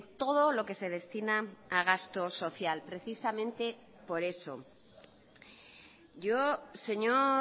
todo lo que se destina a gasto social precisamente por eso yo señor